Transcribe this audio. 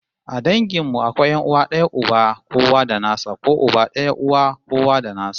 A dangin mu akwai 'yan'uwa d'aya uba kowa da nasa ko uba daya uwa kowa da nasa